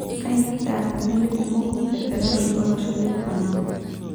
Kanyio peta melii kumok mbenterani olosho le Panama.